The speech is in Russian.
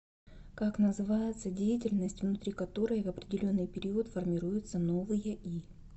как называется деятельность внутри которой в определенный период формируются новые и